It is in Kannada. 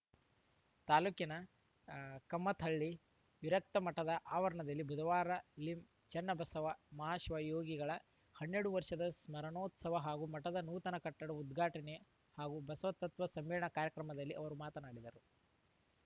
ತಾಲೂಕಿನ ಹ್ ಕಮ್ಮತ್ತಹಳ್ಳಿ ವಿರಕ್ತ ಮಠದ ಆವರಣದಲ್ಲಿ ಬುಧವಾರ ಲಿಂ ಚನ್ನಬಸವ ಮಹಾಶಿವಯೋಗಿಗಳವರ ಹನ್ನೆರಡು ವರ್ಷದ ಸ್ಮರಣೋತ್ಸವ ಹಾಗೂ ಮಠದ ನೂತನ ಕಟ್ಟಡ ಉದ್ಘಾಟನೆ ಹಾಗೂ ಬಸವ ತತ್ವ ಸಮ್ಮೇಳನ ಕಾರ್ಯಕ್ರಮದಲ್ಲಿ ಅವರು ಮಾತನಾಡಿದರು